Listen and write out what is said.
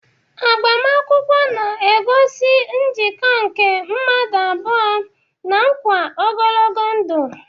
Agbamakwụkwọ na-egosi njikọ nke mmadụ abụọ na nkwa ogologo ndụ.